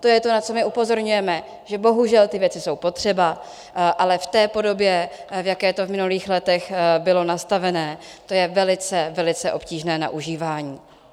To je to, na co my upozorňujeme - že bohužel ty věci jsou potřeba, ale v té podobě, v jaké to v minulých letech bylo nastavené, to je velice, velice obtížné na užívání.